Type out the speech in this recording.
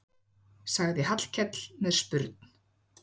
sagði Hallkell með spurn.